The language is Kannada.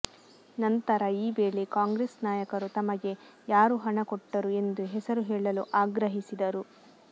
ನಂತರ ಈ ವೇಳೆ ಕಾಂಗ್ರೆಸ್ ನಾಯಕರು ತಮಗೆ ಯಾರು ಹಣ ಕೊಟ್ಟರು ಎಂದು ಹೆಸರು ಹೇಳಲು ಆಗ್ರಹಿಸಿದರು